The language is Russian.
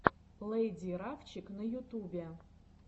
лэйди рафчик на ютубе